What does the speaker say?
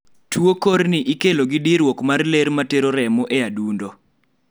tuo kor ni ikelo gi diruok mar ler matero remo e adundo